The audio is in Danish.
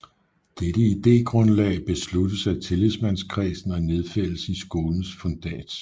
Dette idégrundlag besluttes af tillidsmandskredsen og nedfældes i skolens fundats